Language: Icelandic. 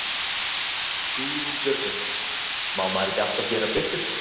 Guðrún Björgvinsdóttir: Má maður ekki alltaf gera betur?